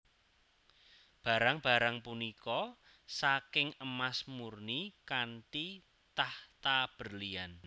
Barang barang punika saking emas murni kanthi tahta berlian